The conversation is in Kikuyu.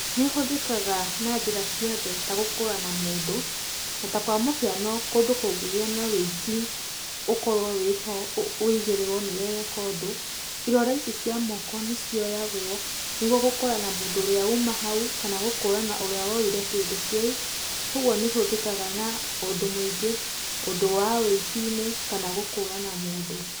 Nĩ ũhũthĩkaga na njĩra ciothe ta gũkũrana mũndũ, na ta kwa mũhiano kũndũ kũngĩgĩa na wĩici ũkorwo wĩho wĩigĩrĩrwo nĩ we weka ũndũ, irore ici cia moko nĩ cioyagwo, nĩguo gũkũrana mũndũ ũrĩa uma hau, kana gũkũrana ũrĩa woire kĩndũ kĩu, kogwo nĩ ĩhũthĩkaga na ũndũ mũingĩ, ũndũ wa wĩici-inĩ kana gũkũrana mũndũ.